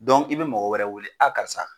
i bɛ mɔgɔ wɛrɛ wele karisa